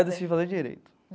Decidi fazer Direito.